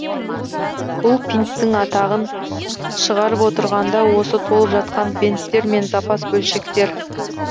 бұл пинттің атағын шығарып отырған да осы толып жатқан бенттер мен запас бөлшектер